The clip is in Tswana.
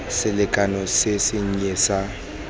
selekano se se nnye sa